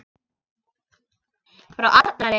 Frá Arnari?